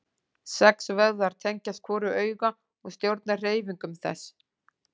Sex vöðvar tengjast hvoru auga og stjórna hreyfingum þess.